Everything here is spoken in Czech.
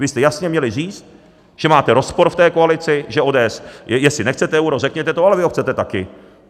Vy jste jasně měli říct, že máte rozpor v té koalici, že ODS - jestli nechcete euro, řekněte to, ale vy ho chcete také.